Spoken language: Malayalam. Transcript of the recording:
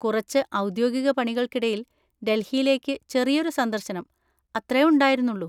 കുറച്ച് ഔദ്യോഗിക പണികൾക്കിടയിൽ ഡെൽഹിയിലേക്ക് ചെറിയൊരു സന്ദർശനം, അത്രേ ഉണ്ടായിരുന്നുളളൂ.